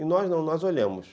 E nós não, nós olhamos.